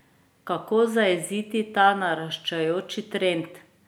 Kako zajeziti ta naraščajoči trend?